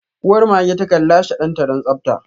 Uwar mage takan lashe danta don tsabta.